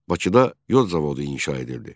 Bakıda yod zavodu inşa edildi.